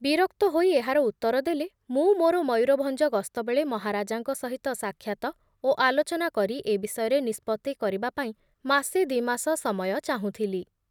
ବିରକ୍ତ ହୋଇ ଏହାର ଉତ୍ତର ଦେଲେ, ମୁଁ ମୋର ମୟୂରଭଂଜ ଗସ୍ତ ବେଳେ ମହାରାଜାଙ୍କ ସହିତ ସାକ୍ଷାତ ଓ ଆଲୋଚନା କରି ଏ ବିଷୟରେ ନିଷ୍ପତ୍ତି କରିବାପାଇଁ ମାସେ ଦି ମାସ ସମୟ ଚାହିଁଥୁଲି ।